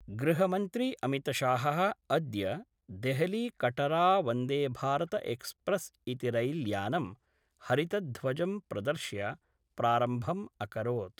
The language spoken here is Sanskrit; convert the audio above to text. गृहमन्त्री अमितशाह: अद्य देहलीकटरावन्देभारतएक्सप्रेस् इति रैल्यानं हरितध्वजं प्रदर्श्य प्रारम्भम् अकरोत्।